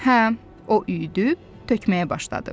Həm o üydüb tökməyə başladı.